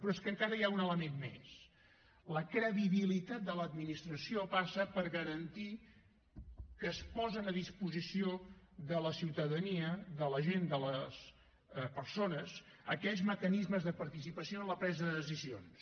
però és que encara hi ha un element més la credibilitat de l’administració passa per garantir que es posen a disposició de la ciutadania de la gent de les persones aquells mecanismes de participació en la presa de decisions